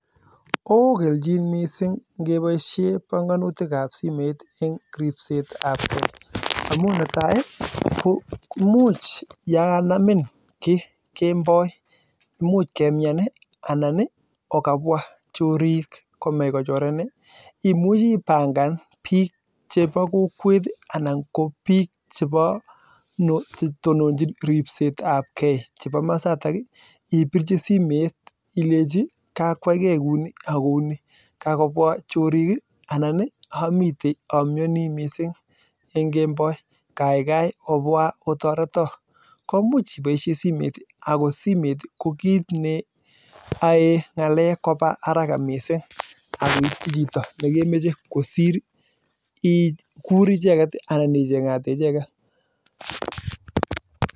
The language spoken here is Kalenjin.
Ooo kelchin missing neboo simet amuu netai imuch ya kanamin kii kemboi imuch kemnyan ii anan okabwaa chorik komech kochorin ii imuchii ipangan biik cheboo kokwet ii imwachii ilechii kaikai obwaa otoroto amuu simet kwae ngalek kobaa haraka kosir ikur icheket